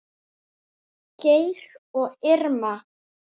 Geir og Irma.